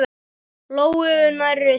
Lóu nærri sér.